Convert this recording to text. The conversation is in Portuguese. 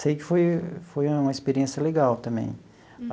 Sei que foi foi uma experiência legal também.